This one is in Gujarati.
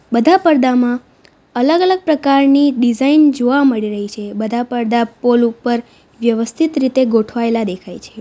બધા પડદામાં અલગ અલગ પ્રકારની ડિઝાઇન જોવા મળી રહી છે બધા પડદા પોલ ઉપર વ્યવસ્થિત રીતે ગોઠવાયેલા દેખાય છે.